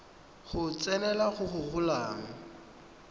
go tsenelela go go golang